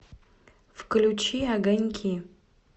включи огоньки